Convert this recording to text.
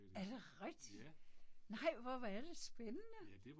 Er det rigtigt? Nej hvor hvor er det spændende!